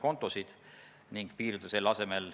Peeter Ernits, palun!